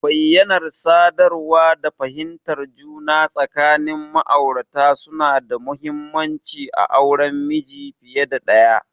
Bayyanar sadarwa da fahimtar juna tsakanin ma'aurata suna da mahimmanci a auren miji fiye da ɗaya.